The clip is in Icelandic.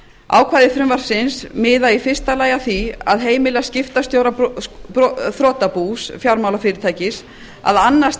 ákvæði frumvarpsins miða í fyrsta lagi að því að heimila skiptastjóra þrotabús fjármálafyrirtækis að annast